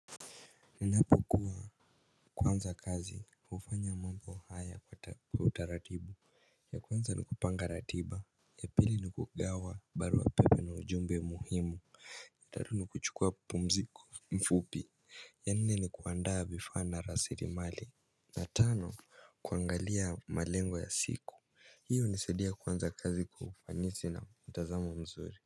Ninapo kuwa kuanza kazi kufanya mambo haya kwa utaratibu. Ya kwanza nikupanga ratiba. Ya pili nikugawa barua pepe na ujumbe muhimu tatu ni kuchukua pumziko fupi ya nne ni kuandaa vifaa na rasilimali na tano kuangalia malengo ya siku. Hiyo inasaidia kuanza kazi kwa ufanisi na mtazamo mzuri.